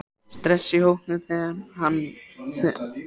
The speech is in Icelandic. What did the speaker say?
Stress í hópnum þegar það er svona rosalega mikið undir?